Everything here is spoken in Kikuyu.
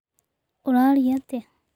Ũrarĩa atĩa?